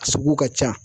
A sugu ka ca